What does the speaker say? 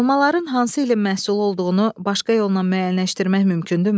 Alovların hansı ilin məhsulu olduğunu başqa yolla müəyyənləşdirmək mümkündürmü?